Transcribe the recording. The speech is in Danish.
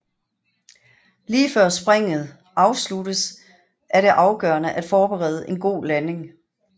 Lige før springet afsluttes er det afgørende at forberede en god landing